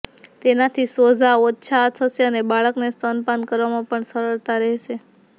તેનાથી સોઝા ઓછા થશે અને બાળકને સ્તનપાન કરાવામાં પણ સરળતા રહેશે